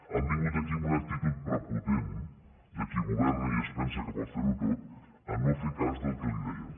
han vingut aquí amb una actitud prepotent de qui governa i es pensa que pot fer ho tot a no fer cas del que li dèiem